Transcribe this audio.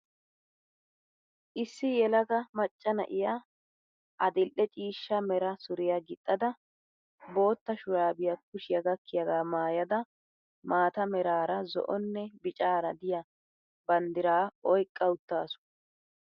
Issi yelaga macca na'iya adil"e ciishsha mera suriya gixxada biotta shuraabiya kushiya gakkiyagaa maayada maata meraara zo'onne bicara diya banddiraa oyqqa uttaasu.